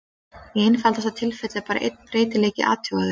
Í einfaldasta tilfelli er bara einn breytileiki athugaður.